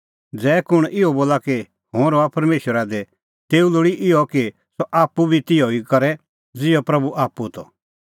ज़ै कुंण इहअ बोला कि हुंह रहा परमेशरा दी तेऊ लोल़ी इहअ कि सह आप्पू बी तिहअ ई करे ज़िहअ प्रभू आप्पू त